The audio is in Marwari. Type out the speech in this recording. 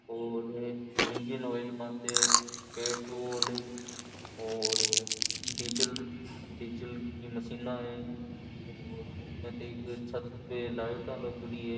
और इंजिन ऑइल माते पेट्रोल और डीज़ल डीजल की मशीना है और उनमे तो एक छत पे लाइटा लागेड़ी है।